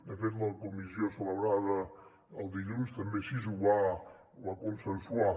de fet la comissió celebrada el dilluns també així ho va consensuar